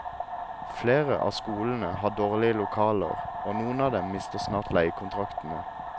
Flere av skolene har dårlige lokaler, og noen av dem mister snart leiekontraktene.